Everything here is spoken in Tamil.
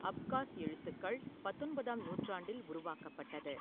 அப்காஸ் எழுத்துக்கள் பத்தொன்பதாம் நூற்றாண்டில் உருவாக்கப்பட்டது.